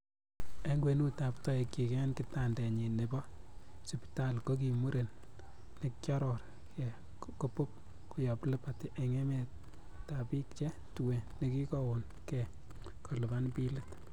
En kwenutab toekchik en kitandenyin nebi sipitali ko ki muren nekioror gee ko Bob koyob Liberty en emetab bik che tuen, nekikoon gee kolipan bilit.